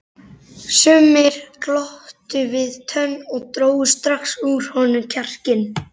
Sumir glottu við tönn og drógu strax úr honum kjarkinn.